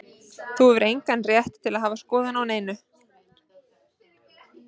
Þú hefur engan rétt til að hafa skoðun á neinu.